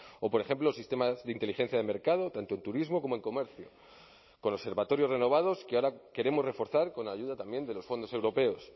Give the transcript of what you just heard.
o por ejemplo sistemas de inteligencia de mercado tanto en turismo como en comercio con observatorios renovados que ahora queremos reforzar con la ayuda también de los fondos europeos